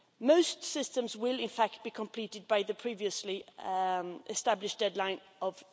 Most systems will in fact be completed by the previously established deadline of